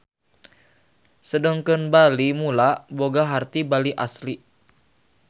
Sedengkeun Bali Mula boga harti Bali Asli.